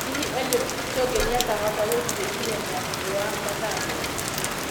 Hihi Eliud Kipchoge ni akahota gũthie ihenya na thi wa mathaa meri?